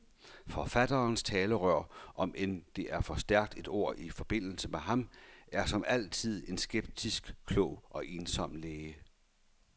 Forfatterens talerør, omend det er for stærkt et ord i forbindelse med ham, er som altid en skeptisk, klog og ensom læge.